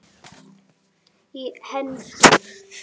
í hendur.